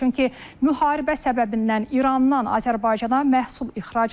Çünki müharibə səbəbindən İrandan Azərbaycana məhsul ixracı dayanıb.